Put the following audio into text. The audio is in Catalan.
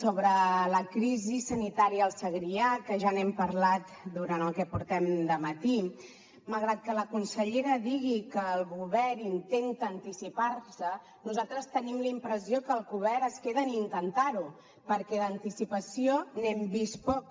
sobre la crisi sanitària al segrià que ja n’hem parlat durant el que portem de matí malgrat que la consellera digui que el govern intenta anticipar se nosaltres tenim la impressió que el govern es queda en intentar ho perquè d’anticipació n’hem vist poca